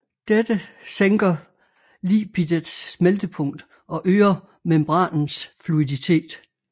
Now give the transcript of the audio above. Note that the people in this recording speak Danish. Dette sænker lipidets smeltepunkt og øger membranens fluiditet